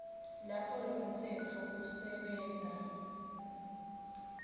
lapho lomtsetfo usebenta